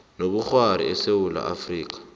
nobukghwari esewula afrika